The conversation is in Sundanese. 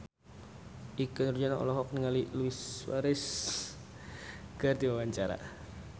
Ikke Nurjanah olohok ningali Luis Suarez keur diwawancara